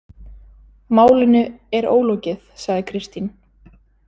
Málinu er ólokið, sagði Kristín.